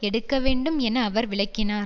எடுக்க வேண்டும் என அவர் விளக்கினார்